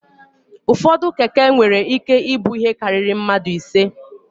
Ụfọdụ Keke nwere ike ibu ihe karịrị mmadụ ise.